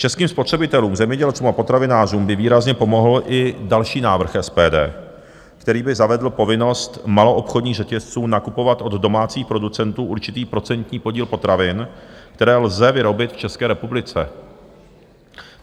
Českým spotřebitelům, zemědělcům a potravinářům by výrazně pomohl i další návrh SPD, který by zavedl povinnost maloobchodních řetězců nakupovat od domácích producentů určitý procentní podíl potravin, které lze vyrobit v České republice.